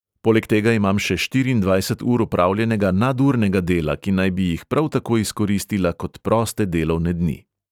Poleg tega imam še štiriindvajset ur opravljenega nadurnega dela, ki naj bi jih prav tako izkoristila kot proste delovne dni.